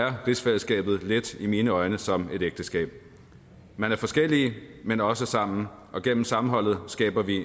rigsfællesskabet lidt i mine øjne som et ægteskab man er forskellige men også sammen og gennem sammenholdet skaber vi